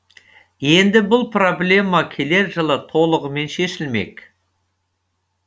енді бұл проблема келер жылы толығымен шешілмек